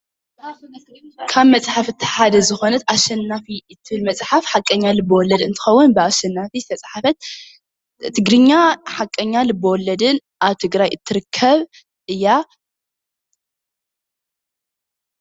ካብ መፅሓፍቲ ሓደ ዝኮነት አሸናፊ እትብል መፅሓፍ ሓቀኛ ልብወለድ እንትኾን ብ አሸናፊ ዝተፅሓፈት ትግርኛ አብ ሓቀኛ ልበ ወለድን አብ ትግራይ እትርከብ እያ ።